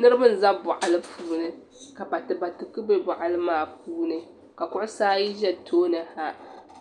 Niriba n za bɔɣili puuni ka batibati bɛ bɔɣili maa puuni ka kuɣisi ayi za tooni ha